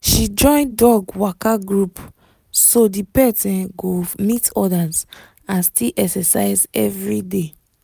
she join dog waka group so the pet um go meet others and still exercise every day